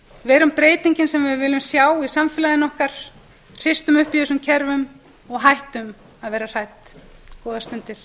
verum breytingin sem við viljum sjá í samfélaginu okkar hristum upp í þessum kerfum og hættum að vera hrædd góðar stundir